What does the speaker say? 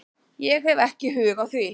Ég hef ekki hug á því